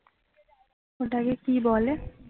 ওটাকে কি বলে